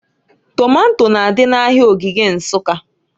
Tomato n'adị n'Ahịa Ogige Nsukka.